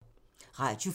Radio 4